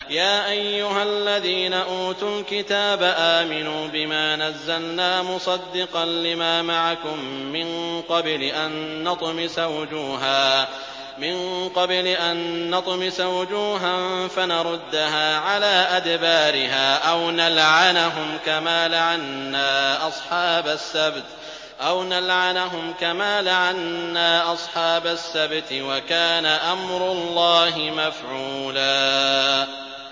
يَا أَيُّهَا الَّذِينَ أُوتُوا الْكِتَابَ آمِنُوا بِمَا نَزَّلْنَا مُصَدِّقًا لِّمَا مَعَكُم مِّن قَبْلِ أَن نَّطْمِسَ وُجُوهًا فَنَرُدَّهَا عَلَىٰ أَدْبَارِهَا أَوْ نَلْعَنَهُمْ كَمَا لَعَنَّا أَصْحَابَ السَّبْتِ ۚ وَكَانَ أَمْرُ اللَّهِ مَفْعُولًا